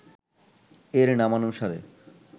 এর নামানুসারে